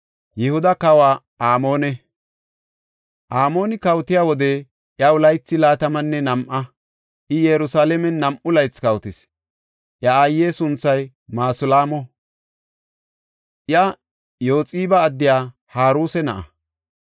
Amooni kawotiya wode, iyaw laythi laatamanne nam7a; I Yerusalaamen nam7u laythi kawotis. Iya aaye sunthay Masulaamo; iya Yooxiba addiya Haruse na7a.